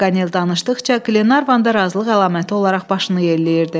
Paqanel danışdıqca Qlenarvan da razılıq əlaməti olaraq başını yelləyirdi.